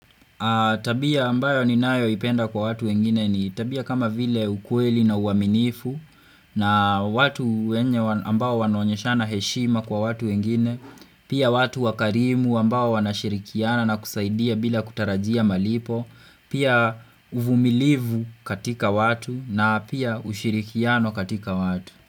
Tabia ambayo ni nayo ipenda kwa watu wengine ni tabia kama vile ukueli na uaminifu na watu wakarimu ambayo wanashirikiana na kusaidia bila kutarajia malipo Pia uvumilivu katika watu na pia ushirikiano katika watu.